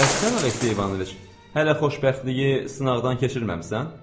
Bəs sən Aleksey İvanoviç, hələ xoşbəxtliyi sınaqdan keçirməmisən?